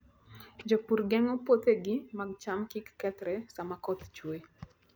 Jopur geng'o puothegi mag cham kik kethre sama koth chue.